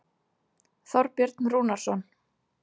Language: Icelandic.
Þorbjörn Rúnarsson.